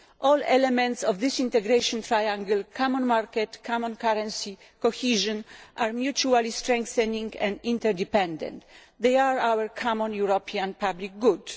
All elements of this integration triangle common market, common currency, cohesion are mutually strengthening and interdependent. They are our common European public good.